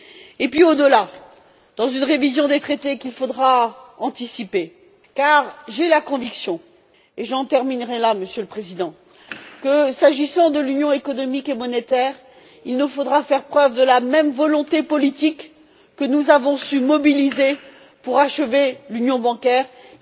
Et puis au delà, dans une révision des traités qu'il faudra anticiper, car j'ai la conviction, et j'en terminerai là Monsieur le président, que s'agissant de l'union économique et monétaire, il nous faudra faire preuve de la même volonté politique que nous avons su mobiliser pour achever l'union bancaire. Il me semble...